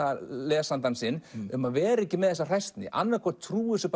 lesanda sinn um að vera ekki með þessa hræsni annað hvort trúa þessu